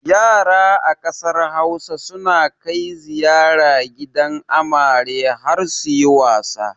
Yara a ƙasar Hausa suna kai ziyara gidan amare har suyi wasa.